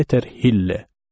Peter Hille.